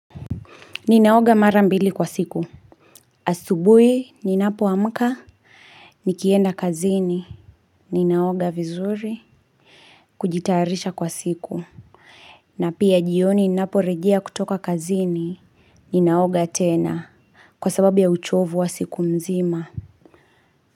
Ninaoga mara mbili kwa siku. Asubui, ninapoamka, nikienda kazini. Ninaoga vizuri, kujitarisha kwa siku. Na pia jioni, ninaporejea kutoka kazini, ninaoga tena. Kwa sababu ya uchovu wa siku nzima.